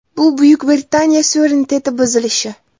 Bu Buyuk Britaniya suvereniteti buzilishi.